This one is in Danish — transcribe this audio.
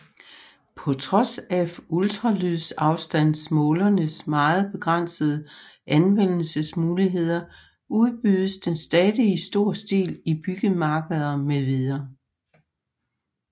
På trods af ultralydsafstandsmålerens meget begrænsede anvendelsesmuligheder udbydes den stadig i stor stil i byggemarkeder mv